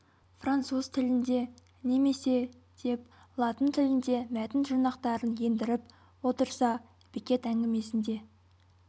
француз тілінде немесе деп латын тілінде мәтін жұрнақтарын ендіріп отырса беккет әңгімесінде